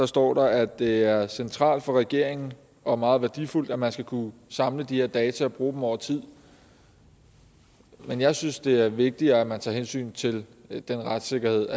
står der at det er centralt for regeringen og meget værdifuldt at man skal kunne samle de her data og bruge dem over tid men jeg synes det er vigtigere at man tager hensyn til den retssikkerhed